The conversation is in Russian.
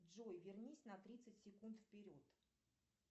джой вернись на тридцать секунд вперед